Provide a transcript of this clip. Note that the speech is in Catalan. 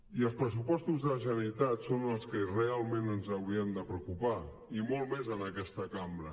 i els pressupostos de la generalitat són els que realment ens haurien de preocupar i molt més en aquesta cambra